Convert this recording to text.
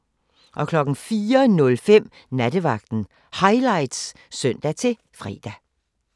04:05: Nattevagten Highlights (søn-fre)